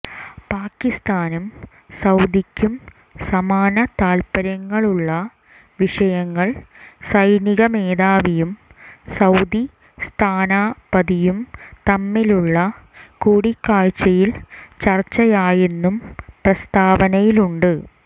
പാക്കിസ്ഥാനും സൌദിക്കും സമാന താൽപര്യങ്ങളുള്ള വിഷയങ്ങൾ സൈനിക മേധാവിയും സൌദി സ്ഥാനപതിയും തമ്മിലുള്ള കൂടിക്കാഴ്ചയിൽ ചർച്ചയായെന്നും പ്രസ്താവനയിലുണ്ട്